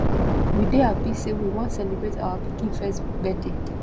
we dey hapi sey we wan celebrate our pikin first birthday